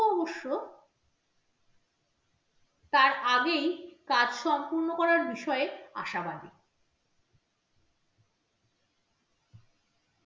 অবশ্য তার আগেই কাজ সম্পূর্ণ করার বিষয়ে আশাবাদী।